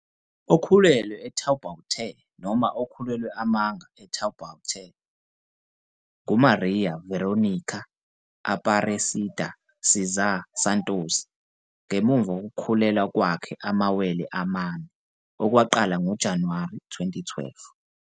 Okhulelwe e-Taubaté noma okhulelwe amanga e-Taubaté kwakuyigama lika-Maria Verônica Aparecida César Santos ngemuva kokukhulelwa kwakhe enamawele amane, okwaqala ngoJanuwari 2012.